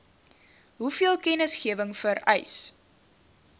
hoeveel kennisgewing vereis